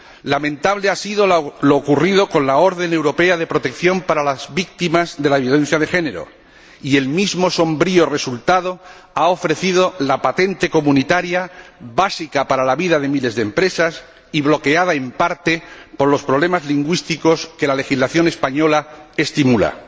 Lamentable ha sido lo ocurrido con la orden europea de protección para las víctimas de la violencia de género y el mismo sombrío resultado ha ofrecido la patente comunitaria básica para la vida de miles de empresas y bloqueada, en parte, por los problemas lingüísticos que la legislación española estimula.